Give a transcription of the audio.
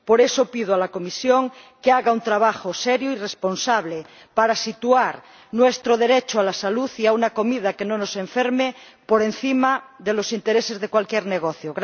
Por eso, pido a la Comisión que haga un trabajo serio y responsable para situar nuestro derecho a la salud y a una comida que no nos enferme por encima de los intereses de cualquier negocio.